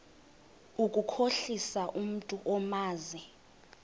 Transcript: ukukhohlisa umntu omazi